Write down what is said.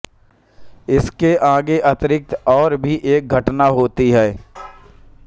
इसके आगे अतिरिक्त और भी एक घटना होती है